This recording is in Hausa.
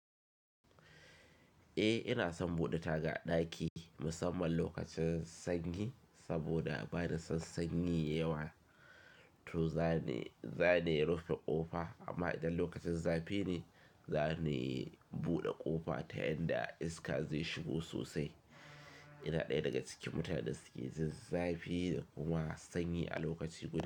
Eh ina son bude taga ɗaki musamman lokacin sanyi saboda bani son sanyi yawa to zane, zane rufe ƙofa amma idan lokacin zafi ne zane bude ƙofa ta yadda iska zai shigo sosai. Ina ɗaya daga cikin mutanen da suke jin zafi da kuma sanyi a lokaci guda.